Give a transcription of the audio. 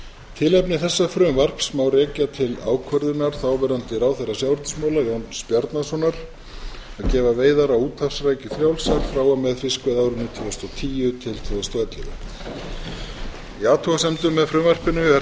tilefni þessa frumvarps má rekja til ákvörðunar þáverandi ráðherra sjávarútvegsmála jóns bjarnasonar að gefa veiðar á úthafsrækju frjálsar frá og með fiskveiðiárinu tvö þúsund og tíu til tvö þúsund og ellefu í athugasemdum með frumvarpinu er